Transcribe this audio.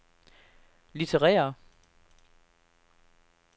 litterære